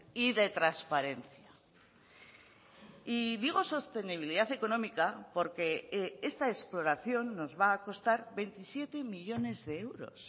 y de transparencia y digo sostenibilidad económica porque esta exploración nos va a costar veintisiete millónes de euros